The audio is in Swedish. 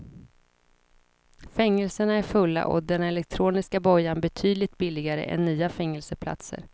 Fängelserna är fulla och den elektroniska bojan betydligt billigare än nya fängelseplatser.